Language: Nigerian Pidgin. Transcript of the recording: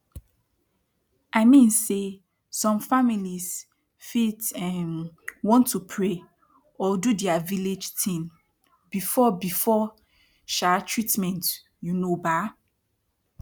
i mean say som families fit um want to pray or do dia vilage tin befor befor um treatment you know bah